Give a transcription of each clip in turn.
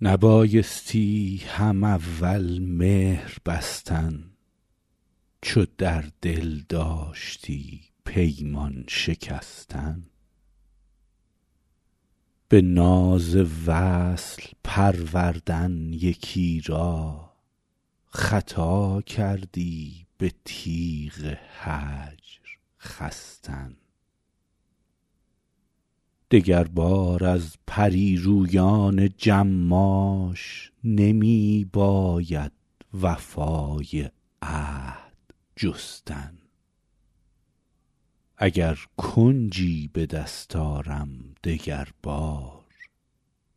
نبایستی هم اول مهر بستن چو در دل داشتی پیمان شکستن به ناز وصل پروردن یکی را خطا کردی به تیغ هجر خستن دگربار از پری رویان جماش نمی باید وفای عهد جستن اگر کنجی به دست آرم دگر بار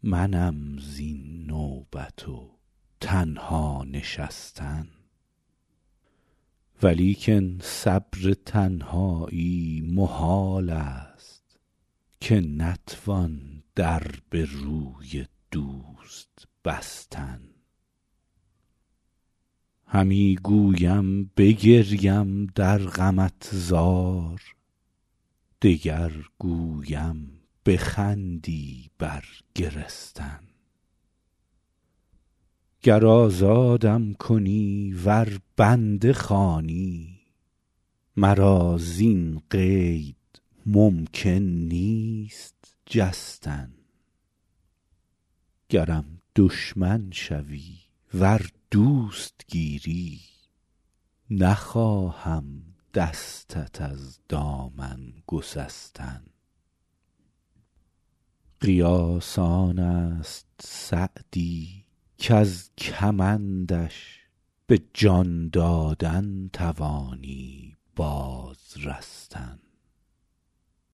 منم زین نوبت و تنها نشستن ولیکن صبر تنهایی محال است که نتوان در به روی دوست بستن همی گویم بگریم در غمت زار دگر گویم بخندی بر گرستن گر آزادم کنی ور بنده خوانی مرا زین قید ممکن نیست جستن گرم دشمن شوی ور دوست گیری نخواهم دستت از دامن گسستن قیاس آن است سعدی کز کمندش به جان دادن توانی باز رستن